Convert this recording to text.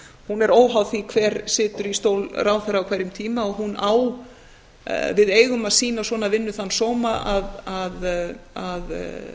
hún er óháð því hver situr í stól ráðherra á hverjum tíma og við eigum að sýna svona vinnu þann sóma að